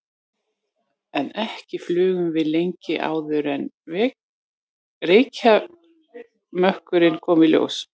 En ekki flugum við lengi áður en reykjarmökkurinn kom í ljós.